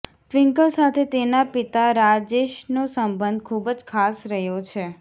twinkle સાથે તેના પિતા રાજેશનો સંબંધ ખૂબ જ ખાસ રહ્યો છે